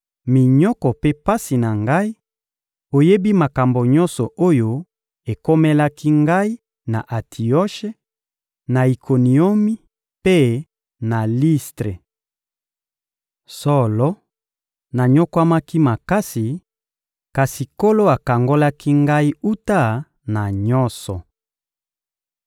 minyoko mpe pasi na ngai; oyebi makambo nyonso oyo ekomelaki ngai na Antioshe, na Ikoniomi mpe na Listre. Solo, nanyokwamaki makasi, kasi Nkolo akangolaki ngai wuta na nyonso.